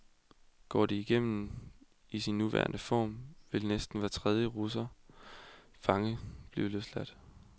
Går det igennem i sin nuværende form, vil næsten hver tredje russiske fange blive løsladt.